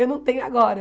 Eu não tenho agora.